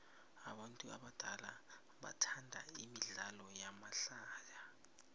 abantu abadala bathanda imidlalo yamahlaya